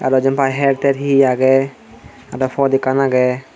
aro Jin pai her ter he he aage aro pod ekkan aage.